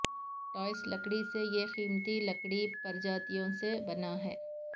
ٹھوس لکڑی سے یہ قیمتی لکڑی پرجاتیوں سے بنا ہے